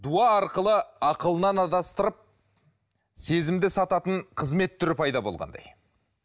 дуа арқылы ақылынан адастырып сезімді сататын қызмет түрі пайда болғандай